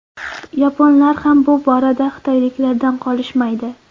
Yaponlar ham bu borada xitoyliklardan qolishmaydi.